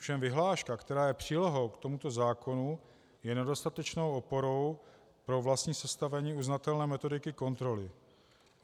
Ovšem vyhláška, která je přílohou k tomuto zákonu, je nedostatečnou oporou pro vlastní sestavení uznatelné metodiky kontroly.